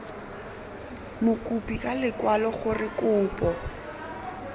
mokopi ka lekwalo gore kopo